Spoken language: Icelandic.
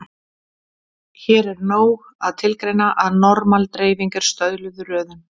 Hér er nóg að tilgreina að normal-dreifing er stöðluð röðun.